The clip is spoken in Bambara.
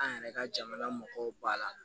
An yɛrɛ ka jamana mɔgɔw b'a la